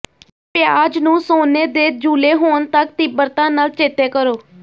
ਪਿਆਜ਼ ਨੂੰ ਸੋਨੇ ਦੇ ਜੂਲੇ ਹੋਣ ਤਕ ਤੀਬਰਤਾ ਨਾਲ ਚੇਤੇ ਕਰੋ